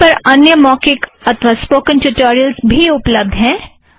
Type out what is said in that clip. LaTeX पर अन्य मौखिक अथ्वा स्पोकन ट्युटोरियलस भी उप्लब्ध हैं